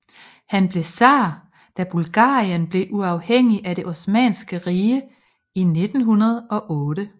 Han blev tsar da Bulgarien blev uafhængig af det Osmanniske Rige i 1908